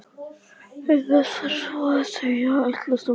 Til þess var svo að segja ætlast af honum.